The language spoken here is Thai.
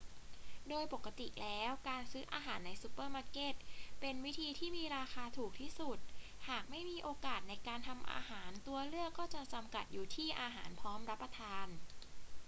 โดยปกติแล้ว การซื้ออาหารในซูเปอร์มาร์เก็ตเป็นวิธีที่มีราคาถูกที่สุด หากไม่มีโอกาสในการทำอาหาร ตัวเลือกก็จะจำกัดอยู่ที่อาหารพร้อมรับประทาน